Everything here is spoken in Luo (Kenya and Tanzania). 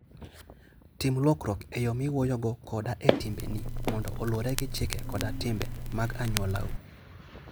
Tim lokruok e yo miwuoyogo koda e timbeni mondo oluwre gi chike koda timbe mag anyuolau.